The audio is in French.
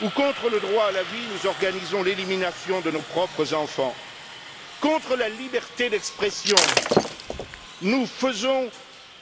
où contre le droit à la vie, nous organisons l'élimination de nos propres enfants, où contre la liberté d'expression, nous faisons